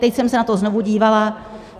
Teď jsem se na to znovu dívala.